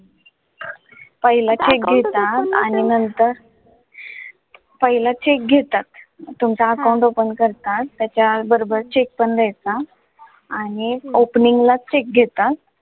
पहिला check घेतात आणि नंतर, पहिला check घेतात तुमचा account open करतात. त्याच्याबरोबर check पण दियाचा आणि opening ला check घेतात.